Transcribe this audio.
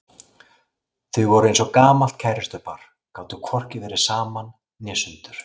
Þau voru eins og gamalt kærustupar, gátu hvorki verið saman né sundur.